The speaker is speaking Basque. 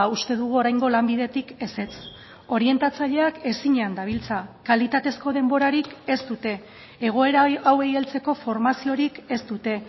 uste dugu oraingo lanbidetik ezetz orientatzaileak ezinean dabiltza kalitatezko denborarik ez dute egoera hauei heltzeko formaziorik ez dute